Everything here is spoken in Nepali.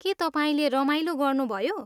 के तपाईँले रमाइलो गर्नुभयो?